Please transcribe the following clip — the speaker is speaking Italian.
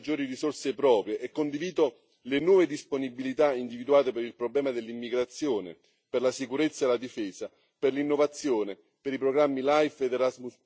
Bene la previsione di nuove e maggiori risorse proprie, e condivido le nuove disponibilità individuate per il problema dell'immigrazione, per la sicurezza e la difesa, per l'innovazione, per i programmi LIFE ed Erasmus,